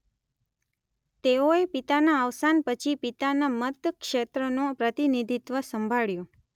તેઓએ પિતાનાં અવસાન પછી પિતાનાં મતક્ષેત્રનું પ્રતિનિધિત્વ સંભાળ્યું.